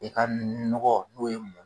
I ka nɔgɔ n'o ye